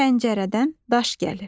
Pəncərədən daş gəlir.